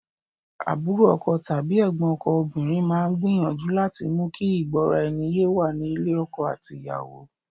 Àbúrò ọkọ tàbí ẹ̀gbọ́n ọkọ obìnrin máa ń gbìyànju láti mú kí ìgbóraẹniyé wà ní ilé ọkọ àti ìyàwó.